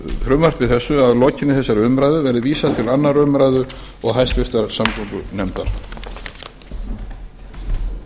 frumvarpi þessu verði að lokinni þessari umræðu vísað til annarrar umræðu og háttvirtrar samgöngunefndar